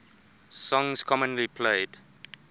songs commonly played